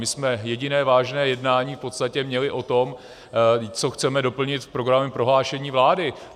My jsme jediné vážné jednání v podstatě měli o tom, co chceme doplnit v programovém prohlášení vlády.